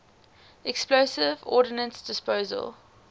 explosive ordnance disposal